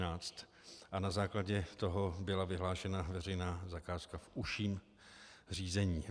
Na základě toho byla vyhlášena veřejná zakázka v užším řízení.